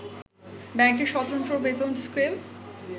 ব্যাংকের সতন্ত্র বেতন স্কেল